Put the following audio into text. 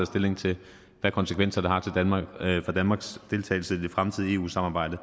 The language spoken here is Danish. stilling til hvad konsekvenser det har for danmarks deltagelse i det fremtidige eu samarbejde